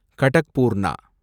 கடக்பூர்ணா